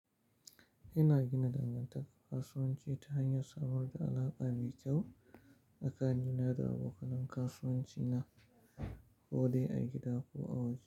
Ina gina dangantaka kasuwanci ta hanyar samar da alaƙa mai kyau tsakanina da abokanan kasuwanci na ko dai a gida ko a waje.